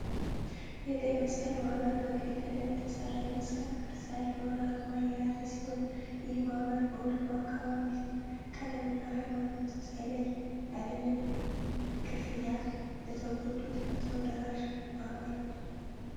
የቀይ መስቀል ማህበር በቀይ ቀለም የተሰራ የመስቀል ቅርፅ ያለውን አርማ የያዘ ሲሆን ይህ ማህበር በሁሉ አካባቢ ዘር ፣ቀለም እና ሀይማኖት ሳይለይ ያለምንም ክፍያ ለተጎዱት ፈጥኖ ደራሽ ማህበር ነው።